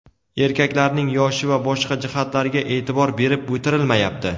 Erkaklarning yoshi va boshqa jihatlariga e’tibor berib o‘tirilmayapti.